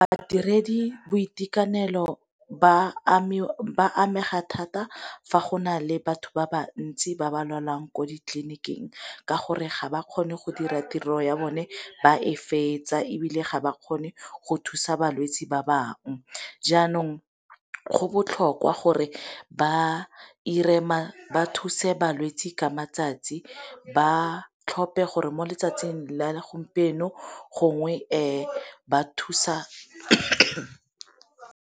Badiredi boitekanelo ba amega thata fa go na le batho ba ba ntsi ba ba lwalang ko ditleliniking ka gore ga ba kgone go dira tiro ya bone ba e fetsa, ebile ga ba kgone go thusa balwetsi ba bangwe. Jaanong go botlhokwa gore ba thuse balwetsi ka matsatsi, ba tlhompe gore mo letsatsing le a segompieno gongwe ba thusa.